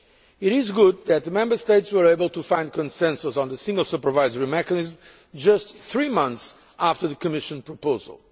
It is good that the Member States were able to find consensus on the Single Supervisory Mechanism just three months after the Commission proposal.